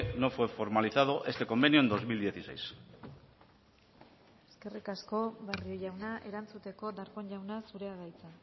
no fue formalizado este convenio en dos mil dieciséis eskerrik asko barrio jauna erantzuteko darpón jauna zurea da hitza